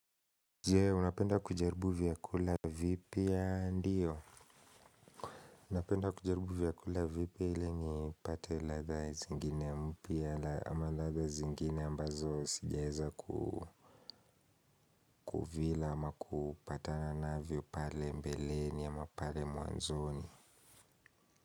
Je, unapenda kujaribu vyakula vipya ndiyo? Napenda kujaribu vyakula vipya ili nipate ladha zingine mpya ama ladha zingine ambazo sijaeza kuvila ama kupatana navyo pale mbeleni ama pale mwanzoni.